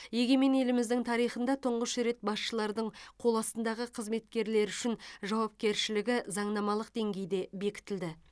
егемен еліміздің тарихында тұңғыш рет басшылардың қол астындағы қызметкерлері үшін жауапкершілігі заңнамалық деңгейде бекітілді